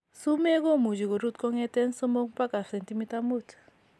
Sumeek komuche korut kongeten 3 baka 5 cm